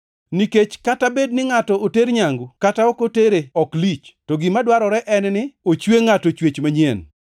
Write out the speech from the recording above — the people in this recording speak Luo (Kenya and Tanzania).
Nikech kata bed ni ngʼato oter nyangu kata ok otere ok lich, to gima dwarore en ni ochwe ngʼato chwech manyien.